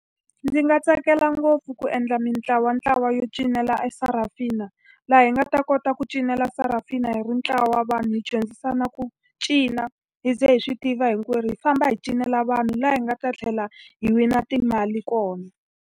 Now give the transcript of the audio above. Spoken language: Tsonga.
Ndzi nga tsakela ngopfu ku endla mintlawantlawa yo cinela e Sarafina. Laha hi nga ta kota ku cinela Sarafina hi ri ntlawa wa vanhu hi dyondzisana ku cina, hi ze hi swi tiva hinkwerhu. Hi famba hi cinela vanhu, laha hi nga ta tlhela hi wina timali kona.